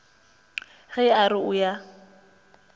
ge a re o ya